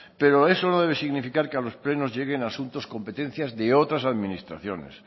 pero eso no debe significar que a los plenos lleguen asuntos competencias de otras administraciones